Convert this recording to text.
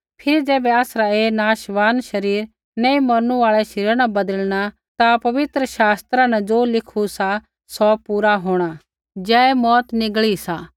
फिरी ज़ैबै आसरा ऐ नाशमान शरीर न मौरनु आल़ै शरीरा न बदलिणा ता पवित्र शास्त्रा न ज़ो लिखु सा पूरा होंणा जय मौऊत निगली सा